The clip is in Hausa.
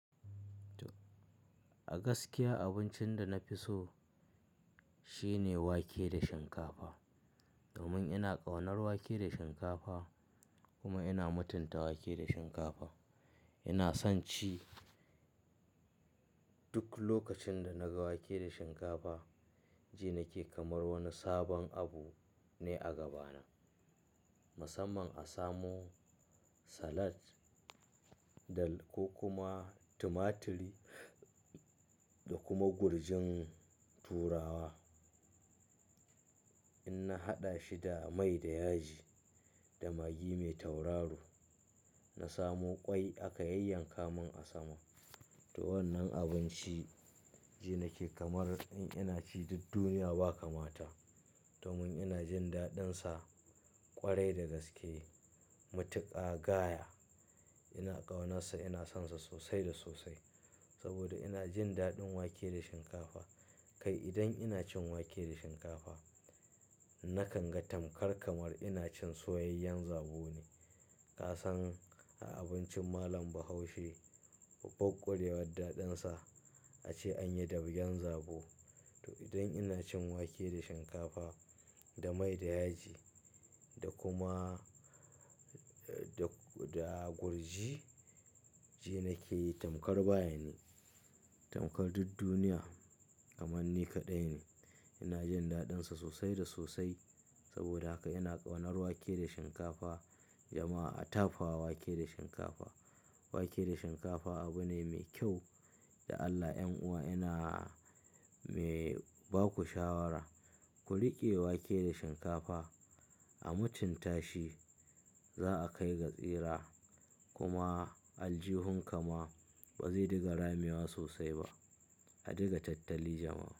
A gaskiya abincin da na fi so shine wake da shinkafa. Domin ina ƙaunar wake da shinkafa kuma ina mutunta wake da shinkafa. Ina son ci duk lokacin da na ga wake da shinkafa, ji nake kamar wani sabon abu ne a gabana. Musamman a samo salat da ko kuma tumaturi da kuma gurjin turawa. In na haɗa shi da mai da yaji da magi mai tauraro, na samu ƙwai aka yanka mun a sama. To wannan abinci ji nake kamar in ina ci duk duniya ba kamata. Domin ina jin daɗinsa ƙwarai da gaske. Matuka gaya ina ƙaunarsa, ina sonsa sosai da sosai. Saboda ina jin daɗin wake da shinkafa. Kai idan ina cin wake da shinkafa nakan ga tamkar kamar ina cin soyayyen zabo ne. Kasan a abincin malam Bahaushe, ɓabbar kurewar daɗin sa ace an yi dabgen zabo. To idan ina cin wake da shinkafa da mai da yaji da kuma da, da gurji, ji nake tamkar baya ni, tamkar duk duniya kamar ni kaɗai ne. Ina jin daɗinsa sosai da sosai. Saboda haka ina ƙaunar wake da shinkafa. Jama'a a tafawa wake da shinkafa. Wake da shinkafa abu ne mai kyau da Allah. 'Yan'uwa ina mai baku shawara, ku riƙe wake da shinkafa a mutunta shi. Za'a kai ga tsira kuma aljihunka ma ba zai dinga ramewa sosai ba. A diga tattali jama'a.